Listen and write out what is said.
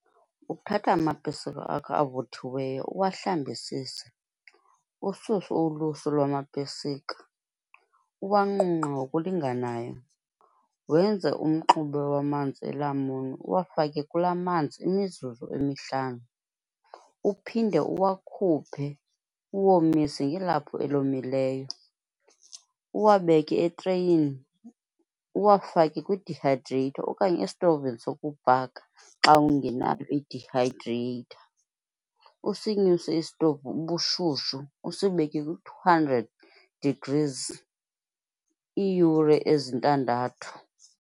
Uthatha amapesika akho avuthiweyo uwahlambisise, ususe ulusu lwamapesika, uwanqunqe ngokulinganayo, wenze umxube wamanzi elamuni, uwafake kula manzi imizuzu emihlanu. Uphinde uwakhuphe, uwomise ngelaphu elomileyo, uwabeke etreyini, uwafake kwi-dehydrator okanye estovini wokubhaka xa ungenayo i-dehydrator. Usinyuse isitovu ubushushu, usibeke kwi-two hundred degrees iiyure ezintandathu.